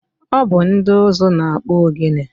Ọ bụ ndị ụzụ na-akpụ ogene.